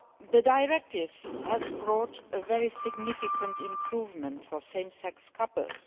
The directive has brought a very significant improvement for same sex couples.